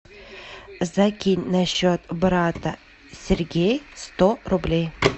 закинь на счет брата сергей сто рублей